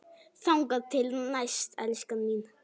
Þangað til næst, elskan mín.